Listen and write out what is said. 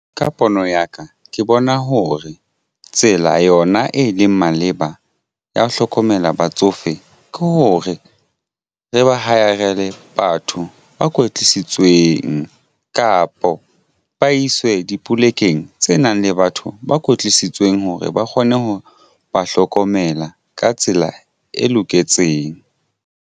Ka pono ya ka ke bona hore tsela yona e leng maleba ya ho hlokomela batsofe ke hore re ba hire-rele batho ba kwetlisitsweng tsweng kapo ba iswe dipolekeng tse nang le batho ba kwetlisitsweng hore ba kgone ho ba hlokomela ka tsela e loketseng.